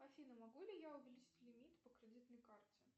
афина могу ли я увеличить лимит по кредитной карте